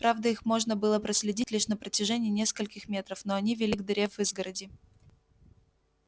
правда их можно было проследить лишь на протяжении нескольких метров но они вели к дыре в изгороди